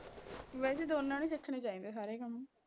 ਵੈਸੇ ਦੋਨਾਂ ਨੂੰ ਸਿੱਖਣੇ ਚਾਹੀਦੇ ਸਾਰੇ ਕੰਮ